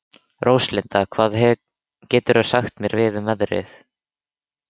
Róslinda, hvað geturðu sagt mér um veðrið?